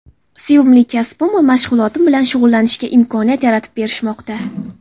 Sevimli kasbim va mashg‘ulotim bilan shug‘ullanishga imkoniyat yaratib berishmoqda.